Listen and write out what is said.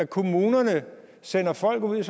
kommunerne sender folk ud i